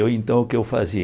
E eu, então, o que eu fazia?